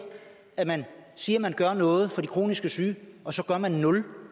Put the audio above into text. at man siger at man gør noget for de kronisk syge og så gør man nul